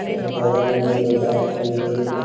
और बगल में एको बाइक भी खड़ी है।